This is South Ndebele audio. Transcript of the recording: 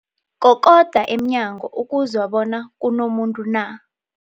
Kokoda emnyango ukuzwa bona kunomuntu na.